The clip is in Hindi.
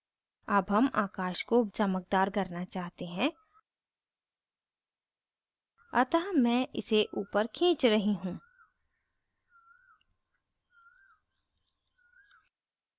अब हम आकाश को चमकदार करना चाहते हैं अतः मैं इसे ऊपर खींच रही हूँ